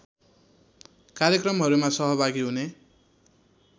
कार्यक्रमहरूमा सहभागी हुने